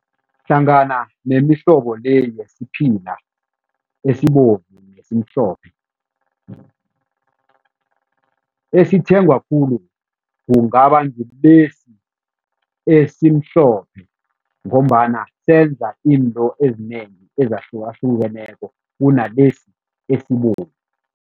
Hlangana nemihlobo le yesiphila esibovu nesimhlophe, esithengwa khulu kungaba ngilesi esimhlophe ngombana senza izinto ezinengi ezahlukahlukeneko kunalesi esibovu.